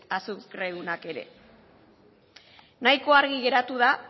azukredunak ere nahiko argi geratu da